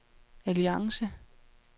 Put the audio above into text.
alliance